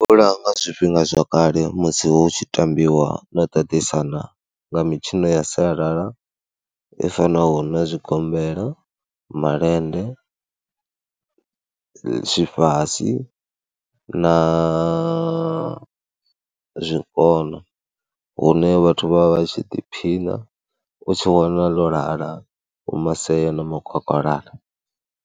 Nga zwifhinga zwakale musi hu tshi tambiwa no ṱaṱisana nga mitshino ya sialala i fanaho na zwigombela, malende, tshifasi na zwikona hune vhathu vha vha vha tshi ḓiphina, u tshi wana ḽo lala hu maseo na makwakwalala.